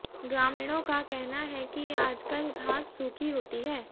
ग्रामीणों का कहना है कि आजकल घास सूखी होती है